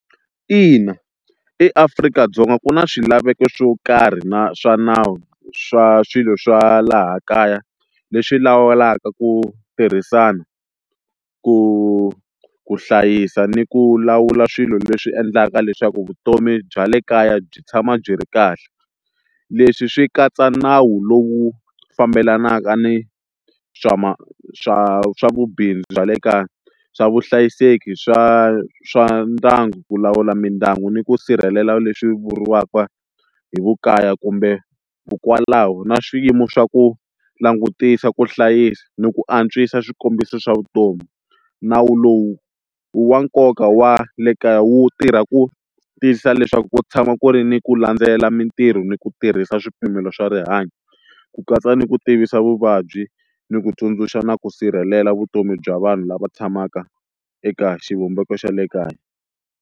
Ina eAfrika-Dzonga ku na swilaveko swo karhi na swa nawu swa swilo swa laha kaya leswi lawulaka ku tirhisana ku ku hlayisa ni ku lawula swilo leswi endlaka leswaku vutomi bya le kaya byi tshama byi ri kahle leswi swi katsa nawu lowu fambelanaka ni swa swa swa vubindzu bya le kaya, swa vuhlayiseki swa swa ndyangu ku lawula mindyangu ni ku sirhelela leswi vuriwaka hi vu kaya kumbe vukwalaho na swiyimo swa ku langutisa ku hlayisa ni ku antswisa swikombiso swa vutomi, nawu lowu i wa nkoka wa le kaya wu tirha ku tiyisisa leswaku ku tshama ku ri ni ku landzela mintirho ni ku tirhisa swipimelo swa rihanyo ku katsa ni ku tivisa vuvabyi ni ku tsundzuxa na ku sirhelela vutomi bya vanhu lava tshamaka eka xivumbeko xa le kaya.